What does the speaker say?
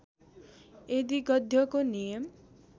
यदि गद्यको नियम